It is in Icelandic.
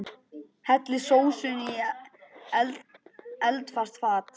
Hellið sósunni í eldfast fat.